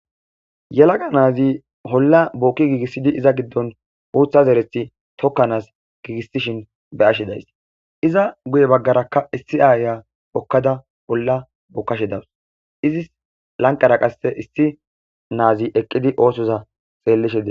yalaga na7azi olla bookki giigissidi iza giddon uutha zerethi tokkanaas giigisishin be7ashe days. iza guye baggarakka issi aaya hokkada olla bookashe dawus. izis lanqera qasse issi na7azi eqqidi oosoza xeellishe de.